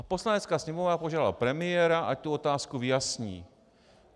A Poslanecká sněmovna požádala premiéra, ať tu otázku vyjasní.